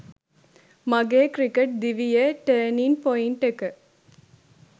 මගේ ක්‍රිකට් දිවියේ 'turning point' එක